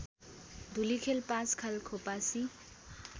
Dhulikhel Panchkhal Khopasi